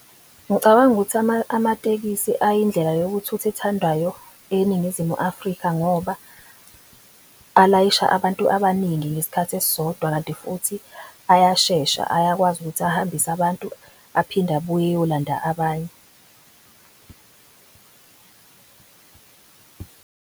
Ngicabanga ukuthi amatekisi ayindlela yokuthutha ethandwayo eNingizimu Afrika ngoba alayisha abantu abaningi ngesikhathi esisodwa. Kanti futhi ayashesha ayakwazi ukuthi ahambise abantu aphinde abuye eyolanda abanye.